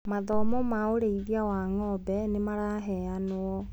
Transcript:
Mathomo ma ũrĩithia wa ngombe nĩmaraheanwo.